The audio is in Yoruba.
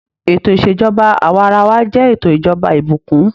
Ètò ìṣèjọba awarawa jẹ ètò ìjọba ìbùkún.